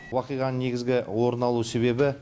оқиғаның негізгі орын алу себебі